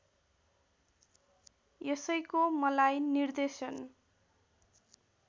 यसैको मलाई निर्देशन